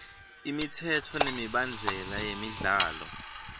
imitsetfo nemibandzela yemidlalo